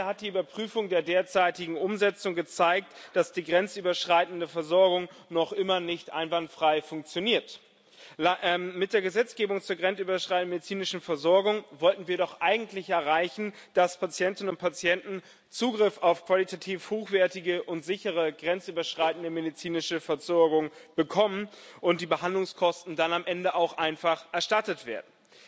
Leider hat die Überprüfung der derzeitigen Umsetzung gezeigt, dass die grenzüberschreitende Versorgung noch immer nicht einwandfrei funktioniert. Mit der Gesetzgebung zur grenzüberschreitenden medizinischen Versorgung wollten wir doch eigentlich erreichen, dass Patientinnen und Patienten Zugriff auf qualitativ hochwertige und sichere grenzüberschreitende medizinische Versorgung bekommen und die Behandlungskosten dann am Ende auch einfach erstattet werden.